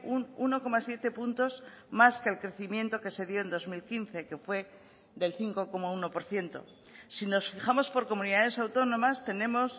un uno coma siete puntos más que el crecimiento que se dio en dos mil quince que fue del cinco coma uno por ciento si nos fijamos por comunidades autónomas tenemos